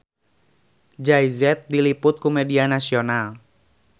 Jay Z diliput ku media nasional